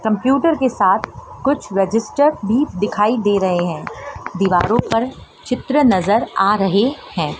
Computer के साथ कुछ रजिस्टर भी दिखाई दे रहे हैं दीवारों पर चित्र नजर आ रहे हैं।